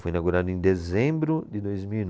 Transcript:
Foi inaugurado em dezembro de dois mil e